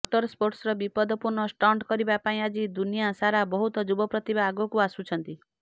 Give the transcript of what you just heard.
motor ସ୍ପୋର୍ଟସର ବିପଦପୂର୍ଣ୍ଣ stunt କରିବା ପାଇଁ ଆଜି ଦୁନିଆ ସାରା ବହୁତ ଯୁବ ପ୍ରତିଭା ଆଗକୁ ଆସୁଛନ୍ତି